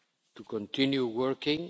group to continue working.